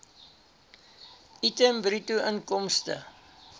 item bruto inkomste